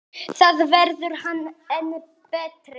Þá verður hann enn betri.